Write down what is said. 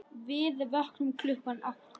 Við vöknum klukkan átta.